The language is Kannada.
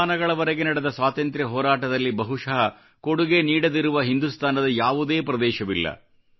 ಶತಮಾನಗಳವರೆಗೆ ನಡೆದ ಸ್ವಾತಂತ್ರ್ಯ ಹೋರಾಟದಲ್ಲಿ ಬಹುಶಃ ಕೊಡುಗೆ ನೀಡದಿರುವ ಹಿಂದೂಸ್ಥಾನದ ಯಾವುದೇ ಪ್ರದೇಶವಿಲ್ಲ